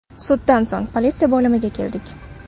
Suddan so‘ng politsiya bo‘limiga keldik.